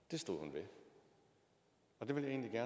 vi er